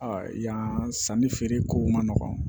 yan sanni feereko man nɔgɔ